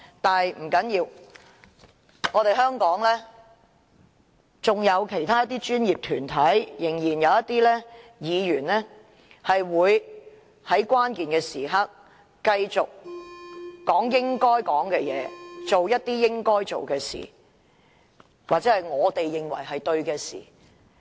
但不要緊，香港仍然有一些專業團體和議員會在關鍵時刻繼續說應說的話，做應做的事或我們認為正確的事。